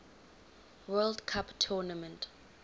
world cup tournament